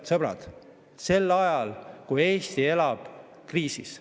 –, sõbrad, sel ajal kui Eesti elab kriisis.